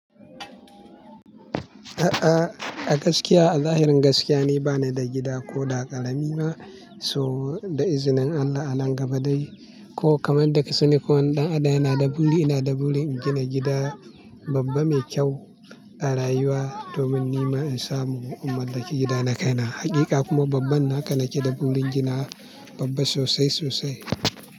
A'a, a gaskiya a zahirin gaskiya ni bani da gida ko da karami ma. So da izinin Allah a nan gaba dai ko kamar yadda da kasani ko wane ɗan adam yana da buri ina da burin gina gida babba mai kyau a rayuwa domin ni ma in samu. In mallaki gida na kai na hakika kuma babban na haka nake da burin gina babba sosai sosai.